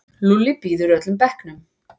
Lúlli býður öllum bekknum.